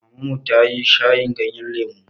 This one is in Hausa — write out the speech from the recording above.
Maman mu ta yi shayin ganyen lemu.